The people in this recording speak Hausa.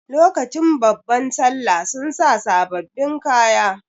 Lokacin babban sallah sun sa sababbin kaya.